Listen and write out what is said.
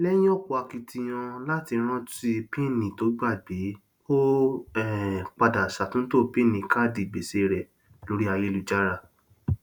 lẹyìn ọpọ akitiyan láti rántí píínì to ógbàgbé ó um padà ṣàtúntò píínì káàdì gbèsè rẹ lórí ayélujára